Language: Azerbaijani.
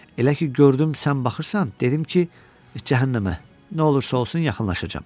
Elə ki gördüm sən baxırsan, dedim ki, cəhənnəmə, nə olursa olsun yaxınlaşacam.